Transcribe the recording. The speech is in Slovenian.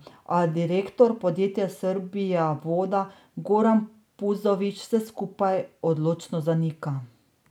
A direktor podjetja Srbijavoda Goran Puzović vse skupaj odločno zanika.